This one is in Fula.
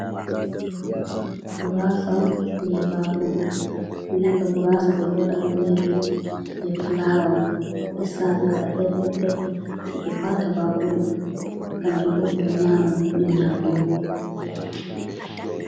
Guraasa on be baakuru, guraasa ɓe ɗo waɗa on be ɗume be fulawa on, ɓe saa ɓe waɗa pel pel pel sei ɓe waata baakuru kanjum bo ɓe don nyama, ɗum nyamdu.